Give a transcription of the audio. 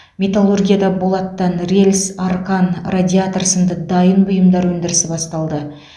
метталургияда болаттан рельс арқан радиатор сынды дайын бұйымдар өндірісі басталды